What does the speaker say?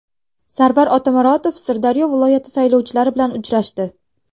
Sarvar Otamuratov Sirdaryo viloyati saylovchilari bilan uchrashdi.